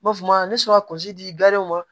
N b'a fɔ ne sɔrɔ kɔnsi ma